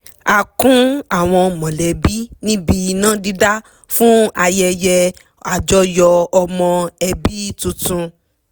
a kún àwọn mọ̀lẹ́bí níbi iná dídá fún ayẹyẹ àjọyọ̀ ọmọ ẹbí tuntun